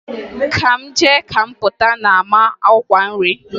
Ka m jee ka m Pụta na-ama ọkwa nri.